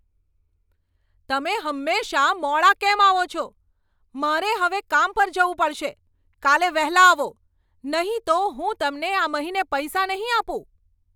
તમે હંમેશા મોડા કેમ આવો છો? મારે હવે કામ પર જવું પડશે! કાલે વહેલા આવો, નહીં તો હું તમને આ મહિને પૈસા નહીં આપું.